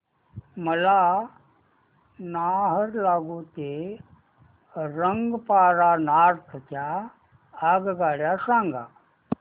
मला नाहरलागुन ते रंगपारा नॉर्थ च्या आगगाड्या सांगा